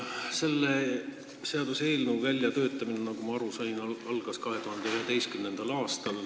Selle seaduseelnõu väljatöötamine, nagu ma aru sain, algas 2011. aastal.